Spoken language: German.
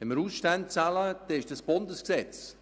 Wenn wir Ausstände bezahlen, ist das Bundesgesetz.